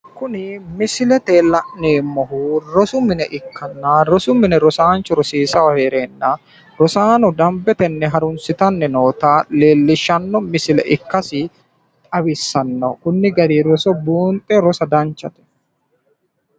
Kuni misilete la'neemmohu rosu mine ikkanna rosu mine ikkanna rosiisaanchu rosiisayi heereenna rosaano dambete harunsitanni noota leellishshanno misile ikkasi xawissanno, konni gari roso buunxe rosa danchate.